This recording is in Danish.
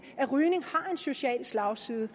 rygning har en social slagside